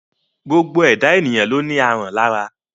Gbogbo ẹ̀dá èyàn ló ní aràn lára.